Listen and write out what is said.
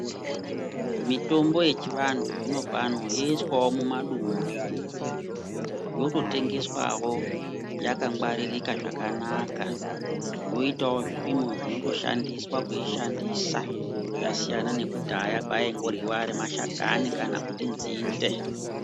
Mitombo yechivantu zvinopano, youswawo mumadumbu, yototengeswawo yakangwaririka zvakanaka, yoitawo zvipimo zvinotoshandiswa kuyishandisa ,yasiyana nekudhaya payayingoryiwa ari mashakani, kana kuti nzinde.